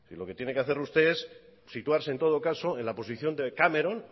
lo que tiene que hacer usted es situarse en todo caso en la posición de cameron